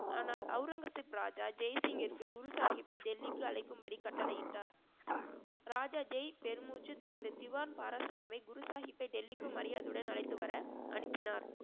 ஆனால் அவுரங்கசீப் ராஜா ஜெயசிங்கிற்கு குரு சாஹிப்பை டெல்லிக்கு அழைக்கும்படி கட்டளையிட்டார் ராஜா ஜெய் பெருமூச்சு தனது திவான் பாரஸ்ராமை குரு சாஹிப்பை டெல்லிக்கு மரியாதையுடன் அழைத்து வர அனுப்பினார்